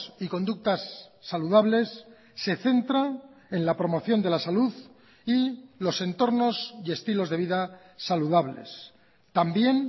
y conductas saludables se centra en la promoción de la salud y los entornos y estilos de vida saludables también